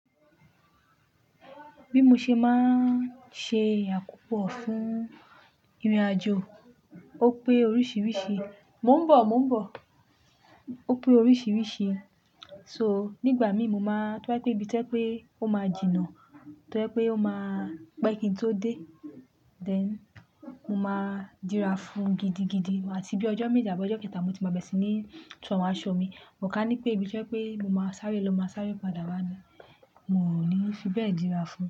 Bí mo ṣe máa ń ṣe àkópọ̀ fún ìrìnàjò ó pé oríṣiríṣi, mò ń bọ̀, mò ń bọ̀. Ó pé oríṣiríṣi, so nígbà mí mo máa tó bá pé ibi tẹ́ pé ó máa jìnà, tó bá pé ó máa pé kí n tó dé, then mo máa dira fun gidigidi àtí bí ọjọ́ méje àbọ́ ọjọ́ kẹta mo tí máa bẹ̀ sí ní tó awon aṣọ mi. Mo kà ní pé ibi tó jẹ́ pé mo máa sáré ló máa sáré padà wá ni. Mo ò ní fi bẹ́ẹ̀ dira fun.